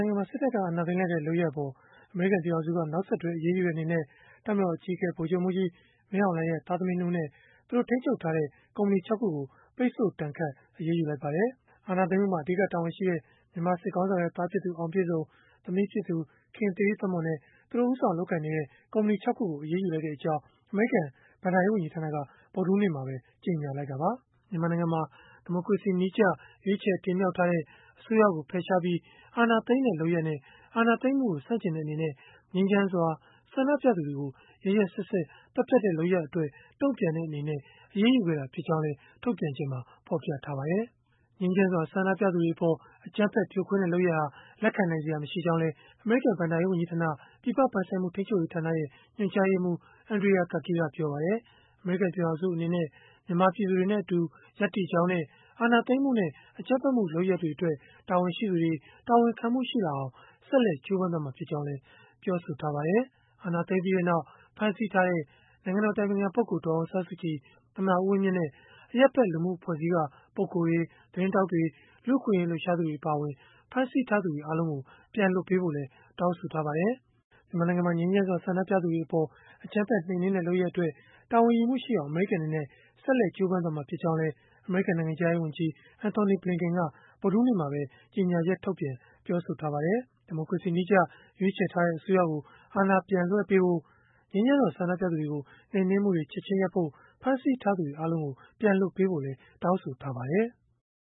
ိုင်ငံမှာ စစ်တပ်က အာဏာသိမ်းလိုက်တဲ့ လုပ်ရပ်အပေါ် အမေရိကန် ပြည်ထောင်စုက နောက်ဆက်တွဲ အရေးယူတဲ့ အနေနဲ့ တပ်မတော်အကြီးအကဲ ဗိုလ်ချုပ်မှူးကြီး မင်းအောင်လှိုင်ရဲ့ သားသမီး ၂ ဦးနဲ့ သူတို့ထိန်းချုပ်ထားတဲ့ ကုမ္ပဏီ ၆ ခုကို ပိတ်ဆို့ဒဏ်ခတ် အရေးယူလိုက်ပါတယ်။ အာဏာသိမ်းလိုက်မှုမှာ အဓိက တာဝန်ရှိတဲ့ မြန်မာစစ်ခေါင်းဆောင်ရဲ့ သားဖြစ်သူ အောင်ပြည့်စုံ၊ သမီးဖြစ်သူ ခင်သီရိသက်မွန် နဲ့ သူတို့ ဦးဆောင်လုပ်ကိုင်နေတဲ့ ကုမ္ပဏီ ၆ ခုကို အရေးယူလိုက်ကြောင်း အမေရိကန် ဘဏ္ဍာရေးဝန်ကြီးဌာနက ဗုဒ္ဓဟူးနေ့ကပဲ ကြေညာလိုက်တာပါ။ မြန်မာနိုင်ငံမှာ ဒီမိုကရေစီနည်းကျ ရွေးချယ်တင်မြှောက်ထားတဲ့ အစိုးရကို ဖယ်ရှားပြီး အာဏာသိမ်းတဲ့လုပ်ရပ်နဲ့ အာဏာသိမ်းမှုကို ဆန့်ကျင်တဲ့ အနေနဲ့ ငြိမ်းချမ်းစွာ ဆန္ဒပြသူတွေကို ရက်ရက်စက်စက် သတ်ဖြတ်တဲ့ လုပ်ရပ်အတွက် တုံ့ပြန်တဲ့အနေနဲ့ အရေးယူခဲ့တာ ဖြစ်ကြောင်းလည်း ထုတ်ပြန်ချက်မှာ ဖော်ပြထားပါတယ်။ ငြိမ်းချမ်းစွာ ဆန္ဒပြသူတွေအပေါ် အကြမ်းဖက်ဖြိုခွင်းတဲ့ လုပ်ရပ်ဟာ လက်ခံနိုင်စရာ မရှိကြောင်းလည်း အမေရိကန် ဘဏ္ဍာရေးဝန်ကြီးဌာန ပြည်ပပိုင်ဆိုင်မှု ထိန်းချုပ်ရေးဌာန ညွှန်ကြားရေးမှူး Andrea Gacki ကပြောပါတယ်။ အမေရိကန် ပြည်ထောင်စု အနေနဲ့ မြန်မာပြည်သူတွေနဲ့အတူ ရပ်တည်ကြောင်းနဲ့ အာဏာသိမ်းမှုနဲ့ အကြမ်းဖက်လုပ်ရပ်တွေအတွက် တာဝန်ရှိသူတွေ၊ တာဝန်ခံမှုရှိအောင် ဆက်လက်ကြိုးပမ်းသွားမှာ ဖြစ်ကြောင်းလည်း ပြောပါတယ်။ အာဏာသိမ်းပြီးနောက် ဖမ်းဆီးထားတဲ့ နိုင်ငံတော် အတိုင်ပင်ခံပုဂ္ဂိုလ် ဒေါ်အောင်ဆန်းစုကြည်၊ သမ္မတ ဦးဝင်းမြင့်နဲ့ အရပ်ဖက်လူမှုအဖွဲ့အစည်းက ပုဂ္ဂိုလ်တွေ၊ သတင်းထောက်တွေ၊ လူ့အခွင့်အရေး လှုပ်ရှားသူတွေ အပါအဝင် ဖမ်းဆီးထားသူတွေ အားလုံးကို ပြန်လွှတ်ပေးဖို့လည်း တောင်းဆိုထားပါတယ်။ မြန်မာနိုင်ငံမှာ ငြိမ်းချမ်းစွာ ဆန္ဒပြသူတွေအပေါ် အကြမ်းဖက်နှိမ်နင်းတဲ့ လုပ်ရပ်အတွက် တာဝန်ယူမှုရှိအောင် အမေရိကန် အနေနဲ့ ဆက်လက် ကြိုးပမ်းသွားမှာ ဖြစ်ကြောင်းလည်း အမေရိကန် နိုင်ငံခြားရေးဝန်ကြီး Antony Blinken က ဗုဒ္ဓဟူးနေ့မှာပဲ ကြေညာချက်ထုတ်ပြန် ပြောဆိုထားပါတယ်။ ဒီမိုကရေစီနည်းကျ ရွေးချယ်ထားတဲ့ အစိုးရကို အာဏာပြန်လွှဲပေးဖို့ ငြိမ်းချမ်းစွာ ဆန္ဒပြသူတွေကို နှိမ်နင်းမှုတွေ ချက်ခြင်းရပ်ဖို့၊ ဖမ်းဆီးထားသူတွေ အားလုံးကို ပြန်လွှတ်ပေးဖို့လည်း တောင်းဆိုထားပါတယ်။